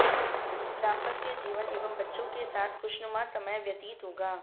दांपत्य जीवन एवं बच्चों के साथ खुशनुमा समय व्यतीत होगा